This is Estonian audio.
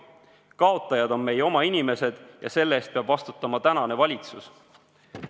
Kaotajad on meie oma inimesed ja selle eest peab vastutama tänane valitsus.